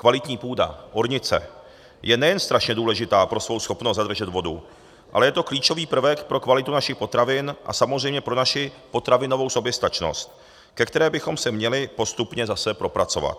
Kvalitní půda ornice je nejen strašně důležitá pro svou schopnost zadržet vodu, ale je to klíčový prvek pro kvalitu našich potravin a samozřejmě pro naši potravinovou soběstačnost, ke které bychom se měli postupně zase propracovat.